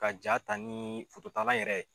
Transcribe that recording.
Ka ja ta ni yɛrɛ ye